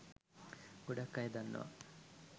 ගොඩක් අය දන්නවා